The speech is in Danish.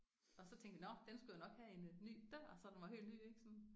Og så tænkte vi nåh den skulle jo nok have en ny dør så den var helt ny ik sådan